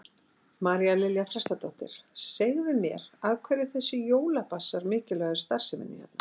María Lilja Þrastardóttir: Segðu mér, af hverju er þessi jólabasar mikilvægur starfseminni hérna?